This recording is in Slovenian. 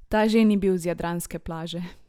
Ta že ni bil z jadranske plaže!